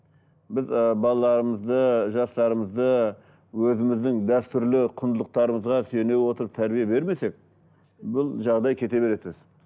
біз ы балаларымызды жастарымызды өзіміздің дәстүрлі құндылықтарымызға сене отырып тәрбие бермесек бұл жағдай кете береді өстіп